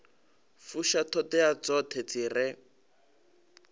fusha ṱhoḓea dzoṱhe dzi re